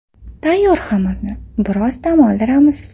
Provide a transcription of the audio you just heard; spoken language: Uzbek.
Tayyor xamirni biroz dam oldiramiz.